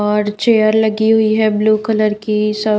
और चेयर लगी हुई है ब्लू कलर की सब--